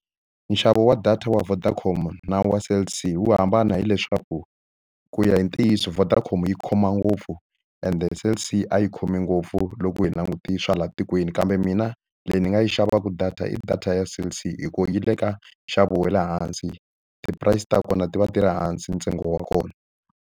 Nxavo wa data wa Vodacom na wa Cell C wu hambana hileswaku, ku ya hi ntiyiso Vodacom yi khoma ngopfu ende Cell C a yi khomi ngopfu loko hina langute swa laha tikweni. Kambe mina leyi ni nga yi xavaka data i data ya Cell C hikuva yi le ka nxavo wa le hansi, ti-price ta kona ti va ti ri hansi ntsengo wa kona.